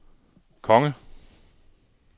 konge